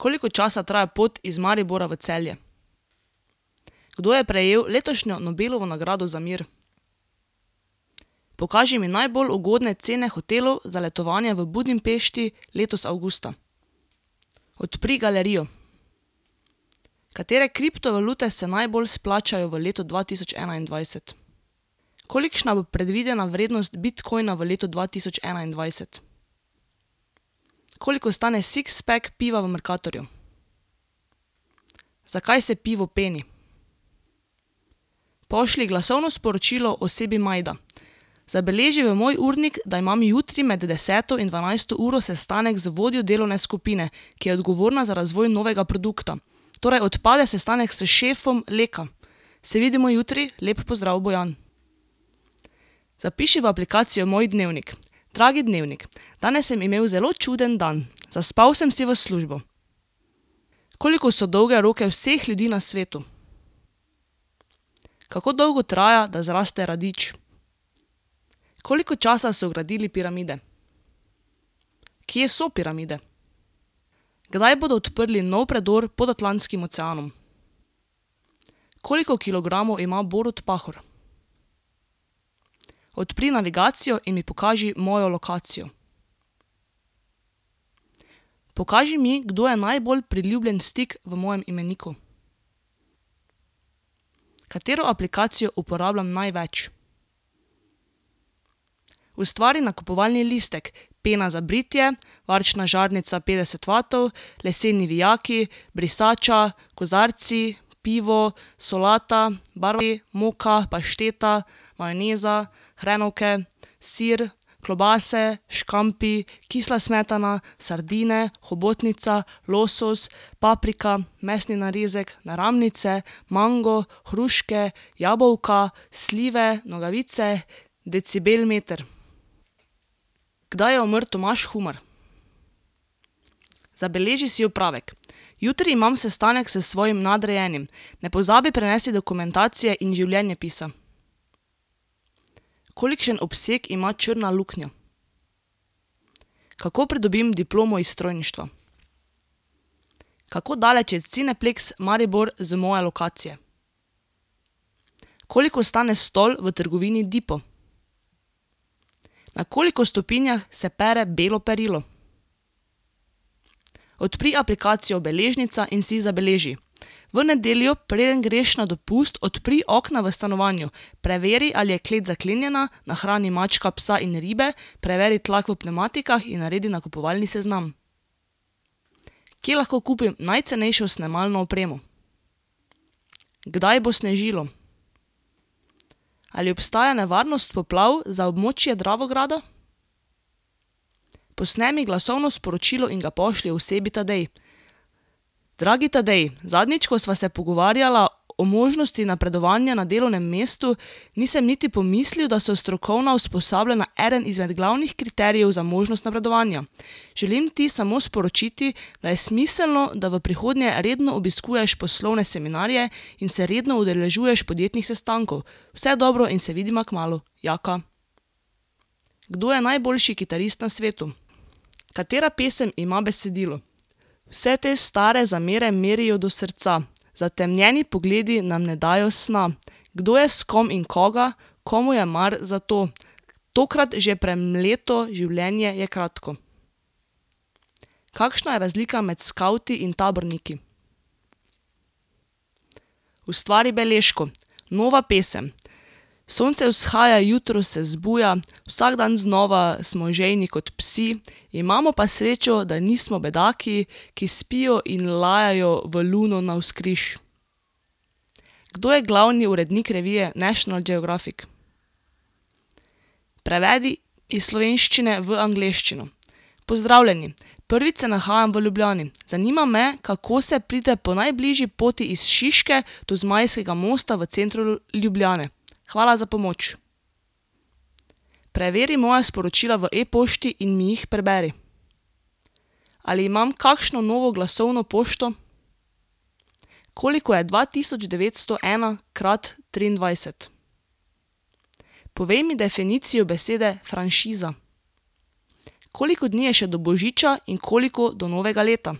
Koliko časa traja pot iz Maribora v Celje? Kdo je prejel letošnjo Nobelovo nagrado za mir? Pokaži mi najbolj ugodne cene hotelov za letovanje v Budimpešti letos avgusta. Odpri galerijo. Katere kriptovalute se najbolj izplačajo v letu dva tisoč enaindvajset? Kolikšna bo predvidena vrednost bitcoina v letu dva tisoč enaindvajset? Koliko stane sixpack piva v Mercatorju? Zakaj se pivo peni? Pošlji glasovno sporočilo osebi Majda: Zabeleži v moj urnik, da imam jutri med deseto in dvanajsto uro sestanek z vodjo delovne skupine, ki je odgovorna za razvoj novega produkta. Torej odpade sestanek s šefom Leka. Se vidimo jutri, lep pozdrav, Bojan. Zapiši v aplikacijo Moj dnevnik: Dragi dnevnik, danes sem imel zelo čuden dan. Zaspal sem si v službo. Koliko so dolge roke vseh ljudi na svetu? Kako dolgo traja, da zraste radič? Koliko časa so gradili piramide? Kje so piramide? Kdaj bodo odprli nov predor pod Atlantskim oceanom? Koliko kilogramov ima Borut Pahor? Odpri navigacijo in mi pokaži mojo lokacijo. Pokaži mi, kdo je najbolj priljubljen stik v mojem imeniku. Katero aplikacijo uporabljam največ? Ustvari nakupovalni listek: pena za britje, varčna žarnica petdeset vatov, leseni vijaki, brisača, kozarci, pivo, solata, , moka, pašteta, majoneza, hrenovke, sir, klobase, škampi, kisla smetana, sardine, hobotnica, losos, paprika, mesni narezek, naramnice, mango, hruške, jabolka, slive, nogavice, decibel meter. Kdaj je umrl Tomaž Humar? Zabeleži si opravek: Jutri imam sestanek s svojim nadrejenim. Ne pozabi prinesti dokumentacije in življenjepisa. Kolikšen obseg ima črna luknja? Kako pridobim diplomo iz strojništva? Kako daleč je Cineplexx Maribor z moje lokacije? Koliko stane stol v trgovini Dipo? Na koliko stopinjah se pere belo perilo? Odpri aplikacijo Beležnica in si zabeleži: V nedeljo, preden greš na dopust, odpri okna v stanovanju. Preveri, ali je klet zaklenjena, nahrani mačka, psa in ribe, preveri tlak v pnevmatikah in naredi nakupovalni seznam. Kje lahko kupim najcenejšo snemalno opremo? Kdaj bo snežilo? Ali obstaja nevarnost poplav za območje Dravograda? Posnemi glasovno sporočilo in ga pošlji osebi Tadej: Dragi Tadej! Zadnjič, ko sva se pogovarjala o možnosti napredovanja na delovnem mestu , nisem niti pomislil, da so strokovna usposabljanja eden izmed glavnih kriterijev za možnost napredovanja. Želim ti samo sporočiti, da je smiselno, da v prihodnje redno obiskuješ poslovne seminarje in se redno udeležuješ podjetnih sestankov. Vse dobro in se vidiva kmalu. Jaka. Kdo je najboljši kitarist na svetu? Katera pesem ima besedilo: Vse te stare zamere merijo do srca, zatemnjeni pogledi nam ne dajo sna. Kdo je s kom in koga, komu je mar za to, tokrat že premleto, življenje je kratko. Kakšna je razlika med skavti in taborniki? Ustvari beležko: Nova pesem. Sonce vzhaja, jutro se zbuja, vsak dan znova smo žejni kot psi, imamo pa srečo, da nismo bedaki, ki spijo in lajajo v luno navzkriž. Kdo je glavni urednik revije National Geographic? Prevedi iz slovenščine v angleščino: Pozdravljeni! Prvič se nahajam v Ljubljani. Zanima me, kako se pride po najbližji poti iz Šiške do Zmajskega mosta v centru Ljubljane. Hvala za pomoč! Preveri moja sporočila v e-pošti in mi jih preberi. Ali imam kakšno novo glasovno pošto? Koliko je dva tisoč devetsto ena krat triindvajset? Povej mi definicijo besede franšiza. Koliko dni je še do božiča in koliko do novega leta?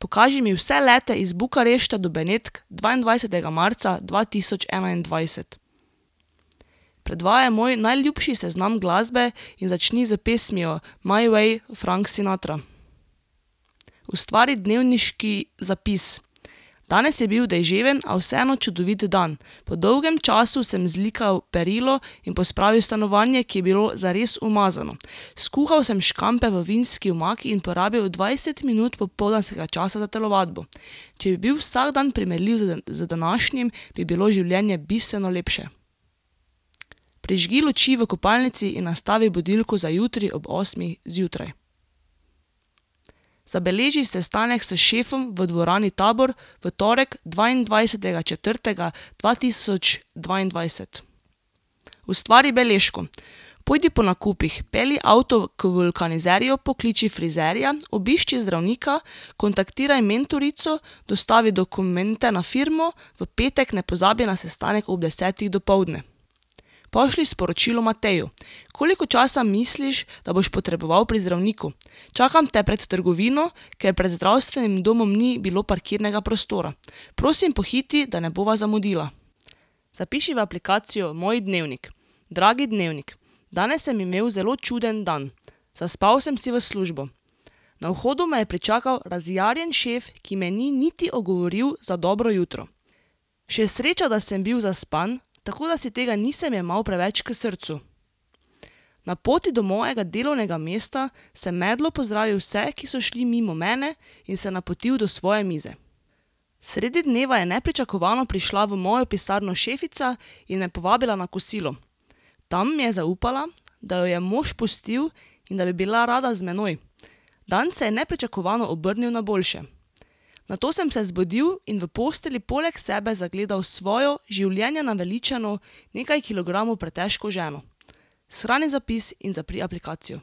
Pokaži mi vse lete iz Bukarešte do Benetk dvaindvajsetega marca dva tisoč enaindvajset. Predvajaj moj najljubši seznam glasbe in začni s pesmijo My way, Frank Sinatra. Ustvari dnevniški zapis: Danes je bil deževen, a vseeno čudovit dan. Po dolgem času sem zlikal perilo in pospravil stanovanje, ki je bilo zares umazano. Skuhal sem škampe v vinski omaki in porabil dvajset minut popoldanskega časa za telovadbo. Če bi bil vsak dan primerljiv z z današnjim, bi bilo življenje bistveno lepše. Prižgi luči v kopalnici in nastavi budilko za jutri ob osmih zjutraj. Zabeleži sestanek s šefom v dvorani Tabor v torek, dvaindvajsetega četrtega dva tisoč dvaindvajset. Ustvari beležko: Pojdi po nakupih. Pelji avto k vulkanizerju, pokliči frizerja, obišči zdravnika, kontaktiraj mentorico, dostavi dokumente na firmo, v petek ne pozabi na sestanek ob desetih dopoldne. Pošlji sporočilo Mateju: Koliko časa misliš, da boš potreboval pri zdravniku? Čakam te pred trgovino, ker pred zdravstvenim domom ni bilo parkirnega prostora. Prosim, pohiti, da ne bova zamudila. Zapiši v aplikacijo Moj dnevnik: Dragi dnevnik, danes sem imel zelo čuden dan. Zaspal sem si v službo. Na vhodu me je pričakal razjarjen šef, ki me ni niti ogovoril za dobro jutro. Še sreča, da sem bil zaspan, tako da si tega nisem jemal preveč k srcu. Na poti do mojega delovnega mesta sem medlo pozdravil vse, ki so šli mimo mene, in se napotil do svoje mize. Sredi dneva je nepričakovano prišla v mojo pisarno šefica in me povabila na kosilo. Tam mi je zaupala, da jo je mož pustil in da bi bila rada z menoj. Dan se je nepričakovano obrnil na boljše. Nato sem se zbudil in v postelji poleg sebe zagledal svojo življenja naveličano, nekaj kilogramov pretežko ženo. Shrani zapis in zapri aplikacijo.